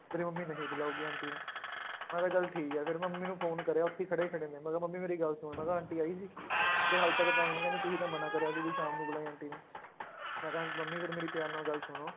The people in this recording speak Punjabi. ਮੇਰੀ ਮੰਮੀ ਨਹੀਂ ਬੁਲਾਊਗੀ ਆਂਟੀ ਨੂੰ ਮੈਂ ਕਿਹਾ ਚੱਲ ਠੀਕ ਹੈ ਫਿਰ ਮੰਮੀ ਨੂੰ phone ਕਰਿਆ ਉੱਥੇ ਹੀ ਖੜੇ ਖੜੇ ਨੇ ਮੈਂ ਕਿਹਾ ਮੰਮੀ ਮੇਰੀ ਗੱਲ ਸੁਣ ਮੈਂ ਕਿਹਾ ਆਂਟੀ ਆਈ ਸੀ ਕਹਿੰਦੇ ਹਾਲੇ ਤੱਕ ਤਾਂ ਆਈ ਨੀ ਕਹਿੰਦੇ ਤੂੰ ਹੀ ਤਾਂ ਮਨਾ ਕਰਿਆ ਸੀ ਵੀ ਸ਼ਾਮ ਨੂੰ ਬੁਲਾਈ ਆਂਟੀ ਨੂੰ, ਮੈਂ ਕਿਹਾ ਮੰਮੀ ਫਿਰ ਮੇਰੀ ਪਿਆਰ ਨਾਲ ਗੱਲ ਸੁਣੋ